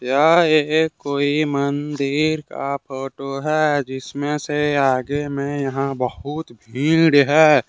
यह एक कोई मंदिर का फोटो है जिसमें से आगे में यहां बहुत भीड़ है।